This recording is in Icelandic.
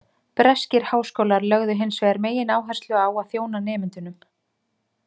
Breskir háskólar lögðu hins vegar megináherslu á að þjóna nemendunum.